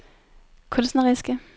kunstneriske